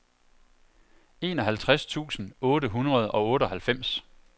enoghalvtreds tusind otte hundrede og otteoghalvfems